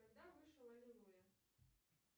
когда вышел аллилуйя